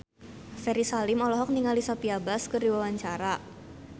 Ferry Salim olohok ningali Sophia Bush keur diwawancara